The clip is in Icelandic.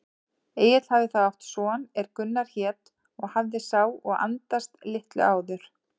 Egill hafði þá átt son er Gunnar hét og hafði sá og andast litlu áður.